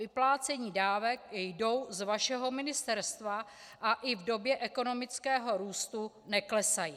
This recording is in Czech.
Vyplácení dávek jdou z vašeho ministerstva a i v době ekonomického růstu neklesají.